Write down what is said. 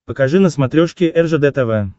покажи на смотрешке ржд тв